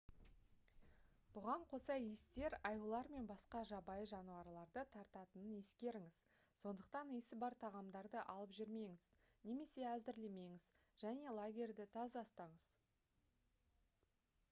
бұған қоса иістер аюлар мен басқа жабайы жануарларды тартатынын ескеріңіз сондықтан иісі бар тағамдарды алып жүрмеңіз немесе әзірлемеңіз және лагерьді таза ұстаңыз